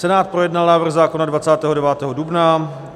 Senát projednal návrh zákona 29. dubna.